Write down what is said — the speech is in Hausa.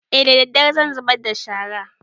E daddare zan zubar da shara